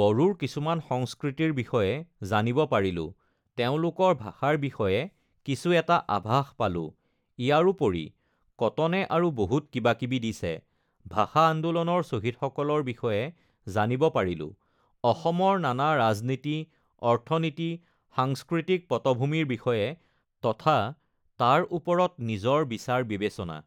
বড়োৰ কিছুমান সংস্কৃতিৰ বিষয়ে জানিব পাৰিলোঁ, তেওঁলোকৰ ভাষাৰ বিষয়ে কিছু এটা আভাস পালোঁ, ইয়াৰোপৰি কটনে আৰু বহুত কিবা কিবি দিছে ভাষা আন্দোলনৰ শ্বহীদসকলৰ বিষয়ে জানিব পাৰিলোঁ, অসমৰ নানা ৰাজনীতি অৰ্থনীতি সাংস্কৃতিক পটভূমিৰ বিষয়ে তথা তাৰ ওপৰত নিজৰ বিচাৰ বিবেচনা uhh